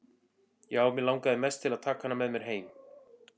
Já, mig langaði mest til að taka hana með mér heim.